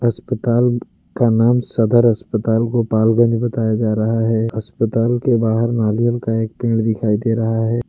अस्पताल का नाम सदर अस्पताल गोपालगंज बताया जा रहा है अस्पताल के बाहर नारियल का एक पेड़ दिखाई दे रहा है।